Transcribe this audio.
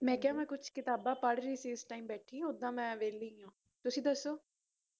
ਮੈ ਕਿਹਾ ਮੈ ਕੁਝ ਕਿਤਾਬਾ ਪੜ੍ਹ ਰਹੀ ਸੀ ਉਂਝ ਬੈਠੀ ਓਹਦਾ ਮੈ ਵੇਹਲੀ ਆ ਤੁਸੀ ਦਸੋ